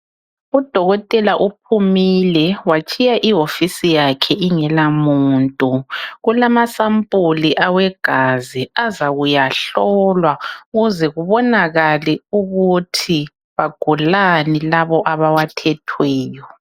Udokotela uphumile watshiya iwofisi yakhe ingela muntu. Kalamasampuli awegazi azakuyahlolwa ukuze kubonakale ukuthi bagulani labo abawathethweyo.